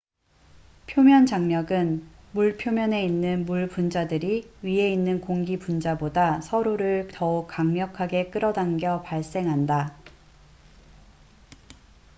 표면 장력은 물 표면에 있는 물 분자들이 위에 있는 공기 분자보다 서로를 더욱 강력하게 끌어당겨 발생한다